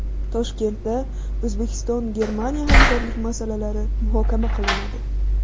Toshkentda O‘zbekistonGermaniya hamkorlik masalalari muhokama qilinadi.